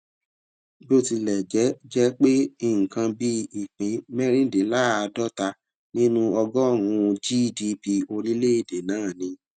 bó tilè jé jé pé nǹkan bí ìpín mérìndínláàdọ́ta nínú ọgórùn-ún gdp orílèèdè náà ni